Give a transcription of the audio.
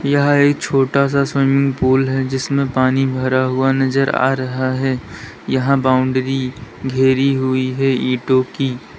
यह एक छोटा सा स्विमिंग पूल है जिसमें पानी भरा हुआ नजर आ रहा है यहां बाउंड्री घेरी हुई है ईंटों की--